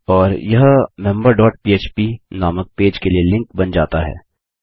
और यह member dot पह्प नामक पेज के लिए लिंक बन जाता है